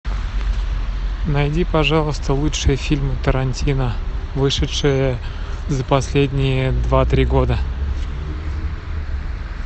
найди пожалуйста лучшие фильмы тарантино вышедшие за последние два три года